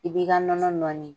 I b'i ka nɔnɔ nɔɔni.